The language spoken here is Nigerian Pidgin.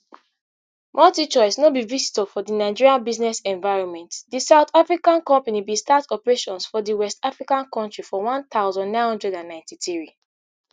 multichoice no be visitor for di nigeria business environment di south african company bin start operations for di west african kontri for one thousand, nine hundred and ninety-three